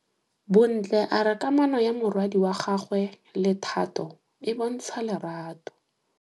Bontle a re kamanô ya morwadi wa gagwe le Thato e bontsha lerato.